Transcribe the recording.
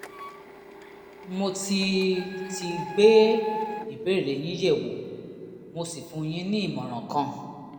mo ti ti gbé ìbéèrè yín yẹ̀wò mo sì fún yín ní ìmọ̀ràn kan